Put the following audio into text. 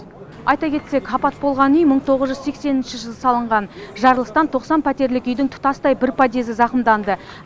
айта кетсек апат болған үй мың тоғыз жүз сексенінші жылы салынған жарылыстан тоқсан пәтерлік үйдің тұтастай бір подъезі зақымданды